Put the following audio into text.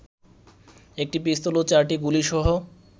একটি পিস্তল ও চারটি গুলিসহ